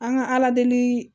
An ka ala deli